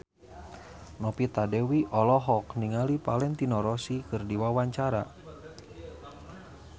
Novita Dewi olohok ningali Valentino Rossi keur diwawancara